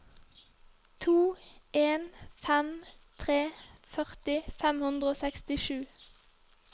to en fem tre førti fem hundre og sekstisju